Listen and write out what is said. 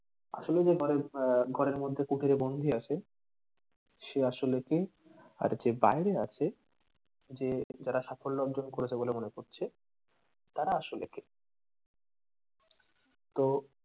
আসলে যে ঘরের আহ ঘরের মধ্যে কুটরে বন্ধি আছে সে আসলে কে আর যে বাহিরে আছে যে তারা সাফল্য অর্জন করেছে বলে মনে করছে তারা আসলে কে। তো,